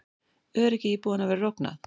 Öryggi íbúanna verður ógnað